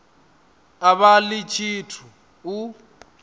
a vha ḽi tshithu u